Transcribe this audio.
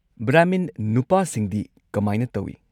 ꯕ꯭ꯔꯍꯃꯤꯟ ꯅꯨꯄꯥꯁꯤꯡꯗꯤ ꯀꯃꯥꯏꯅ ꯇꯧꯏ?